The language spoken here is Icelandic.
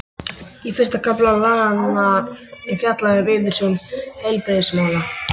Í fyrsta kafla laganna er fjallað um yfirstjórn heilbrigðismála.